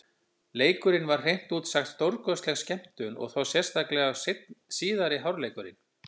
Leikurinn var hreint út sagt stórkostleg skemmtun, og þá sérstaklega síðari hálfleikurinn.